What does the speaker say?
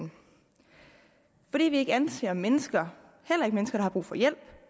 fordi vi ikke anser mennesker heller ikke mennesker der har brug for hjælp